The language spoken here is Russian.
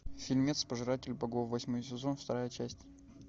фильмец пожиратель богов восьмой сезон вторая часть